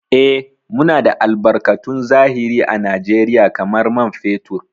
Eh, Muna da albarkatun zahiri à Najeriya kamar man fetur.